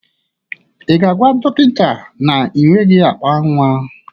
Ị ga-agwa dọkịta na ị nweghị akpa nnwa?